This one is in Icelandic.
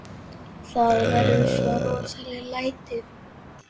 Það verða svo rosaleg læti.